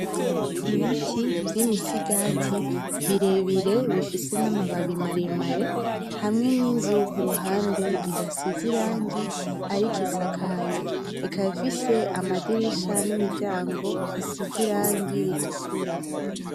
Ibiti vy'imisigati birebire bifise n'amababi maremare , hamwe n'inzu kuruhande idasize irangi ariko isakaye, ikaba ifise amadirisha n'imiryango hasize irangi ritukura.